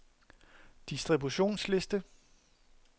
distributionsliste